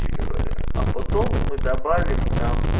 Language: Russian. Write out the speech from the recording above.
говоря а потом мы добавим